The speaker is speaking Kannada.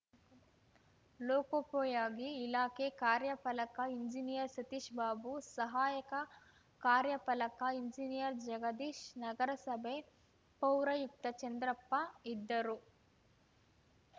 ಲೋಕೋಪಯೋಗಿ ಇಲಾಖೆ ಕಾರ್ಯಪಾಲಕ ಎಂಜಿನಿಯರ್‌ ಸತೀಶ್‌ಬಾಬು ಸಹಾಯಕ ಕಾರ್ಯಪಾಲಕ ಎಂಜಿನಿಯರ್‌ ಜಗದೀಶ್‌ ನಗರಸಭೆ ಪೌರಾಯುಕ್ತ ಚಂದ್ರಪ್ಪ ಇದ್ದರು